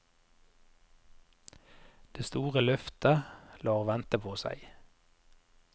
Det store løftet lar vente på seg.